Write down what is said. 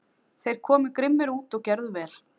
Þeir komu grimmir út og gerðu vel.